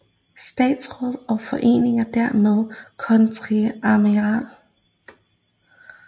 Statsraad og i Forening dermed Kontreadmiral